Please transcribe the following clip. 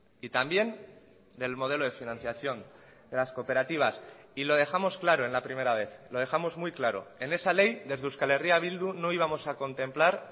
y también del modelo de financiación de las cooperativas y lo dejamos claro en la primera vez lo dejamos muy claro en esa ley desde euskal herria bildu no íbamos a contemplar